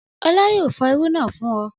Ọlá yóò fọ irú náà fún ọ.